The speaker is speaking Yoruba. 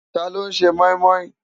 Táló n sè moimoi?